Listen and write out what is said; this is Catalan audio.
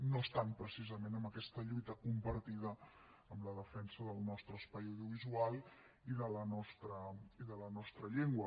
no estan precisament en aquesta lluita compartida en la defensa del nostre espai audiovisual i de la nostra llengua